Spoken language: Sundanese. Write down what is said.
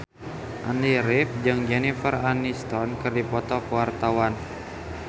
Andy rif jeung Jennifer Aniston keur dipoto ku wartawan